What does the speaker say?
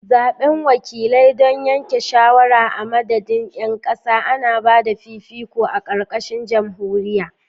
A tiny, powerful elite with excessive influence rules an oligarchy.